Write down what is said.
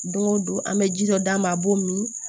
Don o don an bɛ ji dɔ d'a ma a b'o min